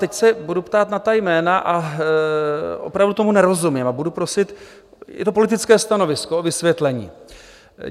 Teď se budu ptát na ta jména, a opravdu tomu nerozumím a budu prosit - je to politické stanovisko - o vysvětlení.